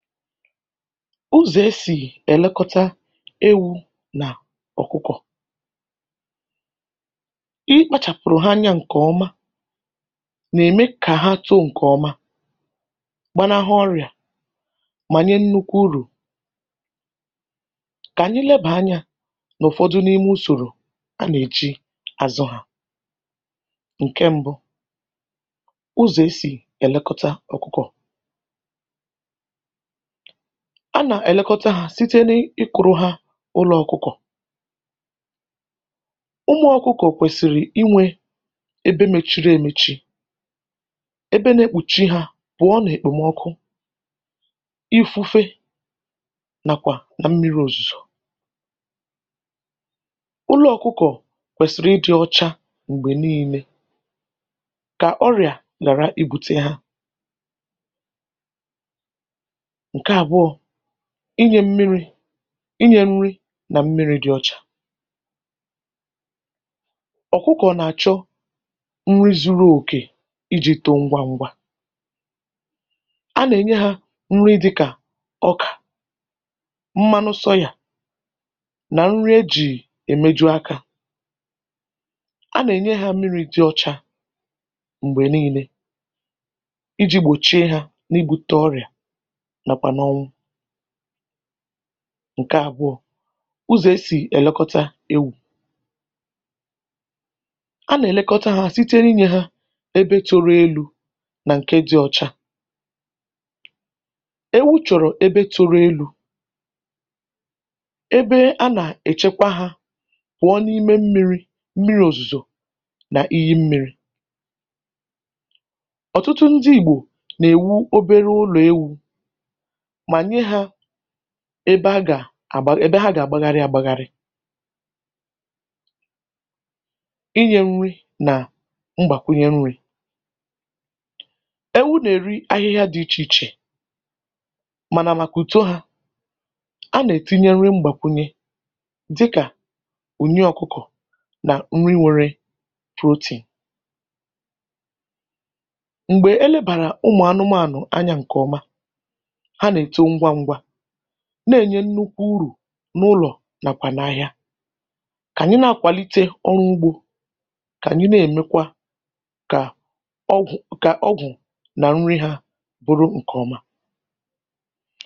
Ụzọ̀ e sì èlekọta ewu̇ nà ọ̀kụkọ̀, ikpȧchàpụ̀rụ̀ ha anyȧ ǹkè ọma nà-ème kà ha too ǹkè ọma gbanahụ ọrị̀à mà nye nnukwu urù kà ànyị lebàa anyȧ n’ụ̀fọdụ n’ime usòrò a nà-èji àzụ hȧ. Ǹke mbu ụzọ̀ e sì èlekọta ọ̀kụkọ̀ a nà-èlekọta hȧ site n’ịkụrụ ha ụlọ̇ ọkụkọ̀, ụmụ̇ ọkụkọ̀ kwèsìrì inwė ebe mechiri emechi ebe na-ekpùchi hȧ pụ̀ọ nà-èkpòmọkụ, ifufe nàkwà nà mmiri òzùzò, ụlọ̇ ọkụkọ̀ kwèsìrì ị dị ọcha m̀gbè niilė kà ọrịà hàra ibutė ha. Ǹke abụọ inyė mmi̇ri̇, inyė nri nà mmiri̇ dị ọ̇chà, ọ̀kụkọ̀ nà-àchọ nri zu̇ru̇ òkè iji̇ too ngwa ngwa, a nà-ènye ha nri dị̇kà ọkà, mmanụ sọyà nà nri ejì èmeju̇ akȧ, a nà-ènye ha mmiri̇ dị ọ̇chȧ m̀gbè nii̇nė iji̇ gbòchie ha n’igbute ọrịà nakwa n'onwu. Ǹke àbụọ ụzọ̀ e sì èlekọta ewu, a nà-èlekọta ha site n’inyė ha ebe tụrụ elu̇ nà ǹke dị̇ ọcha, ewu chọ̀rọ̀ ebe tụrụ elu̇ ebe a nà-èchekwa ha kwụọ n’ime mmiri̇ mmiri̇ òzùzò nà iyi mmiri, ọ̀tụtụ ndị ìgbò nà-èwu obere ụlọ̀ ewu̇manye ha ebe a gà-àgba èbe ha gà-àgbagharị agbagharị. ịnye nri na mgbakwunye nri, ewu na-eri ahịhịa dị iche iche mana maka uto ha, a na-etinyere mgbakwunye dịka uyi ọkụkọ na nri nwéré protein, mgbe elebara ụmụ anụmanụ anya nke ọma ha nȧ-ėto ngwa ngwa na-ènye nnukwu urù n’ụlọ̀ nàkwà n’ȧhịȧ kà ànyị na-akwàlite ọrụ ugbȯ, kà ànyị na-èmekwa kà ọgwụ̀ kà ọgwụ̀ nà nri hȧ bụrụ ǹkè ọma.